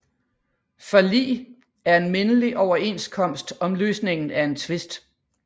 Forlig er en mindelig overenskomst om løsningen af en tvist